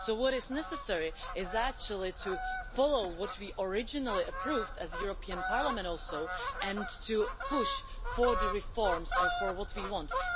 So what is necessary is actually to follow what we originally approved as the European Parliament also, and to push for the reforms and for what we want.